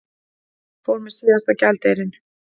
Fór með síðasta gjaldeyrinn